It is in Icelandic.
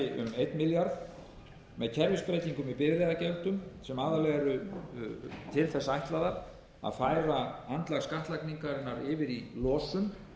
einn milljarð króna með kerfisbreytingum í bifreiðagjöldum sem aðallega eru til þess ætlaðar að færa andlag skattlagningarinnar yfir í losun